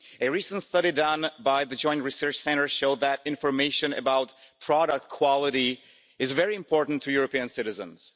A recent study done by the Joint Research Centre showed that information about product quality is very important to European citizens.